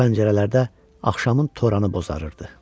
Pəncərələrdə axşamın toranı bozarırdı.